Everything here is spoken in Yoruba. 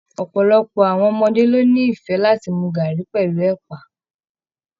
Ọpọlọpọ àwọn ọmọdé lo n'ifẹ láti mú garri pẹlú ẹpa.